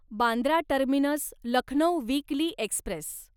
Bandra terminus Lucknow weekly Express